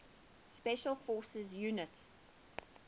special forces units